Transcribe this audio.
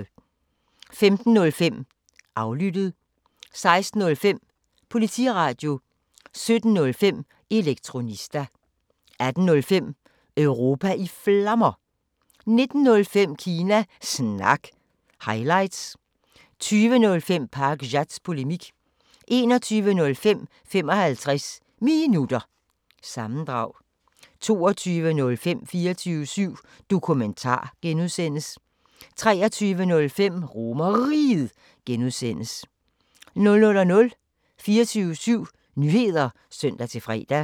15:05: Aflyttet 16:05: Politiradio 17:05: Elektronista 18:05: Europa i Flammer 19:05: Kina Snak – highlights 20:05: Pakzads Polemik 21:05: 55 Minutter – sammendrag 22:05: 24syv Dokumentar (G) 23:05: RomerRiget (G) 00:00: 24syv Nyheder (søn-fre)